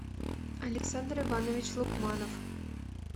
александр иванович лукманов